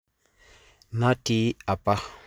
Nati apa.